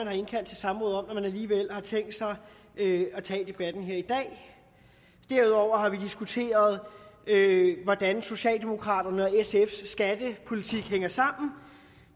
har indkaldt til samråd om alligevel har tænkt sig at tage debatten her i dag derudover har vi diskuteret hvordan socialdemokraternes og sfs skattepolitik hænger sammen